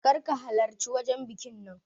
Kar ka halarci wajan bikin nan